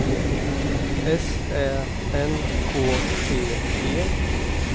S Ä N K T E